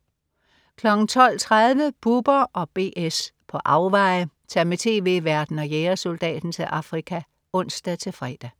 12.30 Bubber & BS på afveje. Tag med tv-værten og jægersoldaten til Afrika (ons-fre)